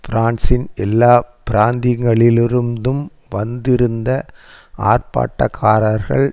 பிரான்சின் எல்லா பிராந்திகளிலிருந்தும் வந்திருந்த ஆர்ப்பாட்டக்காரர்கள்